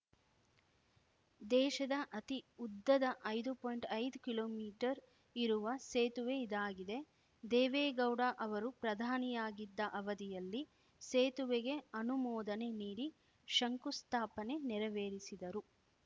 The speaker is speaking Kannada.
ದೇಶದ ಅತಿ ಉದ್ದದ ಐದು ಪಾಯಿಂಟ್ಐದು ಕಿಲೋಮೀಟರ್ ಇರುವ ಸೇತುವೆ ಇದಾಗಿದೆ ದೇವೇಗೌಡ ಅವರು ಪ್ರಧಾನಿಯಾಗಿದ್ದ ಅವಧಿಯಲ್ಲಿ ಸೇತುವೆಗೆ ಅನುಮೋದನೆ ನೀಡಿ ಶಂಕುಸ್ಥಾಪನೆ ನೆರವೇರಿಸಿದರು